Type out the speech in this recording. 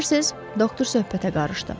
Bilirsiniz, doktor söhbətə qarışdı.